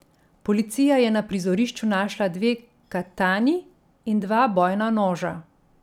Policija je na prizorišču našla dve katani in dva bojna noža.